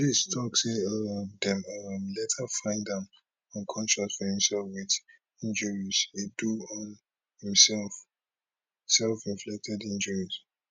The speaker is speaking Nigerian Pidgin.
police tok say um dem um later find am unconscious for im cell wit injuries e do on himself selfinflicted injuries